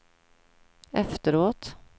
efteråt